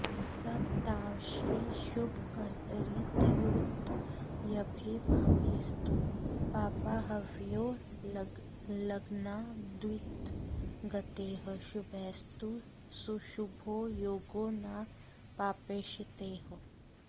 सत्पार्श्वे शुभकर्तरीत्युदयभे पापेस्तु पापाह्वयो लग्नाद्वित्तगतैः शुभैस्तु सुशुभो योगो न पापेक्षितैः